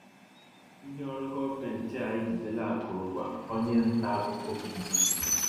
Ndị ọrụ gọọmentị a ejidela akụrụngwa onye nta akụkọ BBC